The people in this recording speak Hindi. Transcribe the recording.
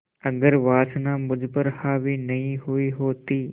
अगर वासना मुझ पर हावी नहीं हुई होती